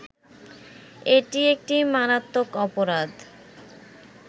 এটি একটি মারাত্মক অপরাধ